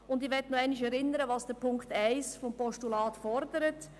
Ich möchte nochmals an das erinnern, was der Punkt 1 des Postulats fordert: